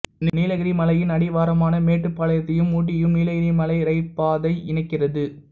நீலகிரி மலையின் அடிவாரமான மேட்டுப்பாளையத்தையும் ஊட்டியையும் நீலகிரி மலை இரயில் பாதை இணைக்கிறது